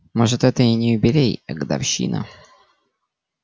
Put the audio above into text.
может это и не юбилей а годовщина